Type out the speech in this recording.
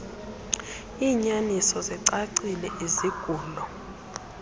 iinyaniso zicacile izigulo